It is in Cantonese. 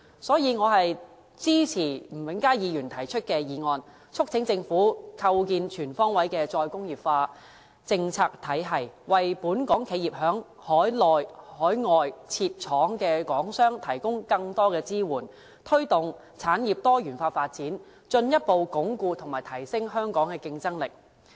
所以，我支持吳永嘉議員提出的議案，促請政府構建全方位的"再工業化"政策體系，為本港企業和在海內、海外設廠的港商提供更多支援，推動產業多元化發展，進一步鞏固和提升香港的競爭力。